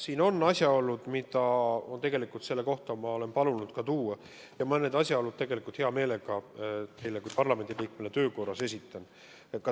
Siin on asjaolud, mida ma tegelikult olen palunud selle kohta tuua, ja ma need asjaolud hea meelega teile kui parlamendiliikmele töö korras ka esitan.